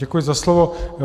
Děkuji za slovo.